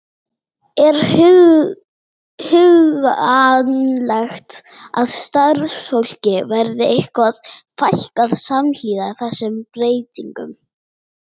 Lillý Valgerður: Er hugsanlegt að starfsfólki verði eitthvað fækkað samhliða þessum breytingum?